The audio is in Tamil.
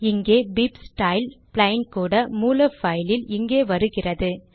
இந்த bibstyle பிளெயின் கூட மூல பைலில் இங்கே வருகிறது